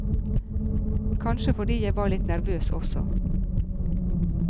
Kanskje fordi jeg var litt nervøs også.